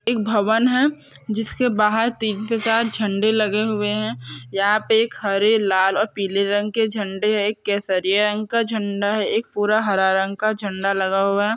एक भवन है जिस के बहार तीन से चार झंडे लगे हुए है यहाँ पे एक हरे लाल पीले रंग के झंडे है एक केसरिया रंग का झंडा है एक पूरा हरा रंग का झंडा लगा हुआ हैं।